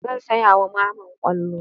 Zan saya wa Mamman ƙwallo.